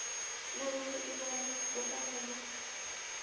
nakube ibona kufanele